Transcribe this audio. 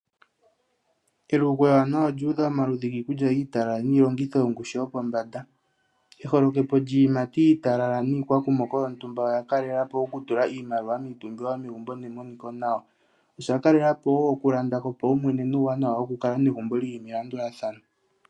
Elugo ewanawa olu udha omaludhi ogendji giikulya iitalala niilongitho yongushu yopombanda. Eholekepo lyiiyimati iitalala niikwakumoko olya kalela po okutula iimaliwa miipumbiwa yomegumbo nemoniko nawa. Osha kalela po wo okulanda kopaumwene uuwanwa wokukala negumbo li li melandulathano.